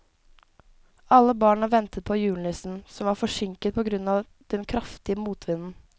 Alle barna ventet på julenissen, som var forsinket på grunn av den kraftige motvinden.